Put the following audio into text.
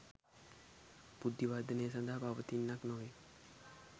බුද්ධිවර්ධනය සඳහා පවතින්නක් නොවේ